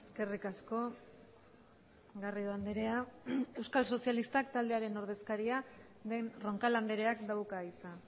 eskerrik asko garrido andrea euskal sozialistak taldearen ordezkaria den roncal andreak dauka hitza